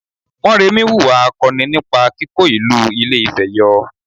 Mọ́remí wùwà akọni nípa kíkó ìlú Ilé-Ifẹ̀ yọ